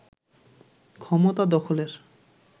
ক্ষমতা দখলের